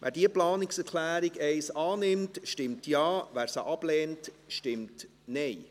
Wer die Planungserklärung 1 der GSoK annehmen will, stimmt Ja, wer diese ablehnt, stimmt Nein.